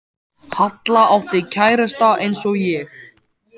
Halla átti kærasta eins og ég.